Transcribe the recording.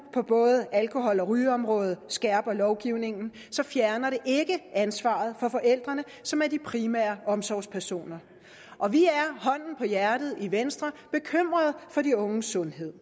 på både alkohol og rygeområdet skærper lovgivningen fjerner det ikke ansvaret fra forældrene som er de primære omsorgspersoner og vi er hånden på hjertet i venstre bekymrede for de unges sundhed